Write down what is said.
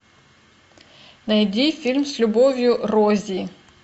найди фильм с любовью рози